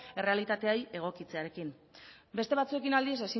errealitatea egokitzearekin beste batzuekin aldiz